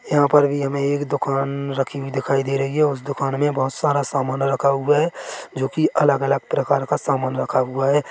यहाँ पर हमें एक दुकान रखी हुई दिखाई दे रही है उस दुकान में बहोत सारा सामान रखा हुआ है जो कि अलग-अलग प्रकार का सामान रखा हुआ है।